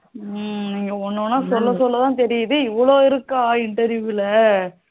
ஹம் ஒண்ணு ஒண்ணா சொல்ல சொல்லதான் தெரியுது இவலோ இருக்கா interview ல